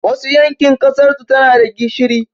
Wasu yankin ƙasarsu tanada gishiri